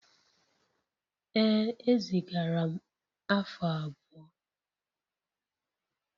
Ee ezigara m afu abuo.